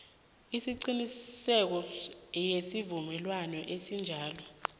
eqinisekisiweko yesivumelwano esinjalo